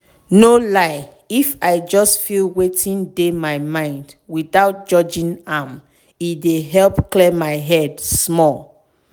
no lie if i just feel wetin dey my mind without judging am e dey help clear my head small.